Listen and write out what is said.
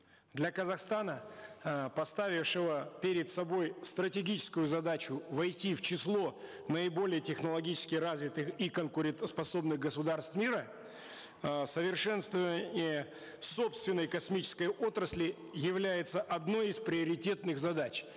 для казахстана э поставившего перед собой стратегическую задачу войти в число наиболее технологически развитых и конкурентоспособных государств мира э совершенствование собственной космической отрасли является одной из приоритетных задач